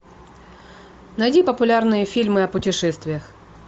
найди популярные фильмы о путешествиях